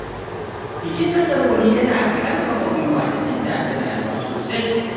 Bikin nasarori yana ƙarfafa gwiwa da jin daɗin rayuwa sosai.